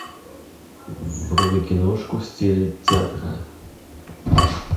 вруби киношку в стиле театра